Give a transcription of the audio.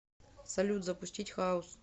салют запустить хаус